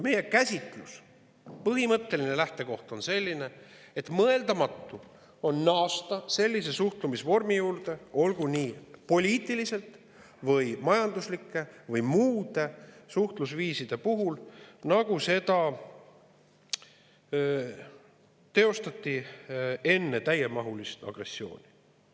Meie käsitlus, põhimõtteline lähtekoht on selline, et mõeldamatu on naasta samasuguse suhtlemisvormi juurde, olgu poliitiliste, majanduslike või muude suhtlusviiside puhul, nagu oli enne täiemahulist agressiooni.